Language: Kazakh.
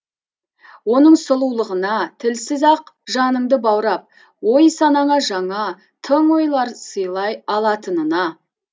оның сұлулығына тілсіз ақ жаныңды баурап ой санаңа жаңа тың ойлар сыйлай алатынына